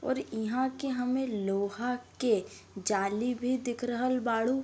और इह के हमें लोहा के जाली भी दिख रहल बाड़ू।